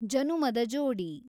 ಜನುಮದ ಜೋಡಿ